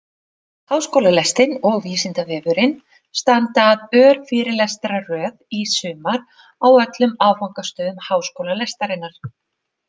Háskólalestin og Vísindavefurinn standa að örfyrirlestraröð í sumar á öllum áfangastöðum Háskólalestarinnar.